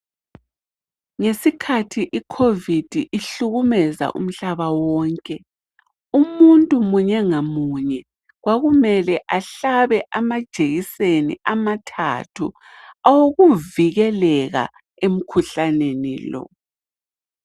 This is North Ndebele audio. Ngesikhathi iCovid ihlukumeza umhlaba wonke, umuntu munye ngamunye kwakumele ahlabe amajekiseni amathathu owokuvikelela umkhuhlane lo.